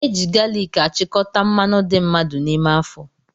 Eji galiki achikọta mmanụ dị mmadụ n'ime afọ